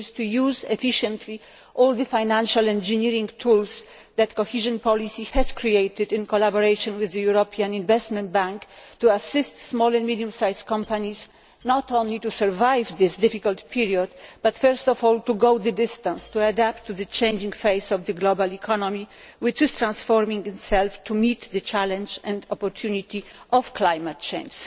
which is to efficiently use all the financial engineering tools which the cohesion policy has created in collaboration with the European Investment Bank in order to assist small and medium sized companies not only to survive this difficult period but first of all to go the distance, to adapt to the changing face of the global economy, which is transforming itself, and to rise up to the challenge and the opportunity of climate change.